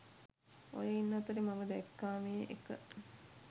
ඔය ඉන්න අතරේ මම දැක්කාමේ එක